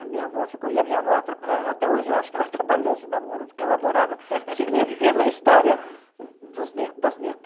A minha avó ficou... E a minha avó atra a até hoje, eu acho que ela atrapalhou esse namoro, porque ela adorava se meter na história dos neto das neta.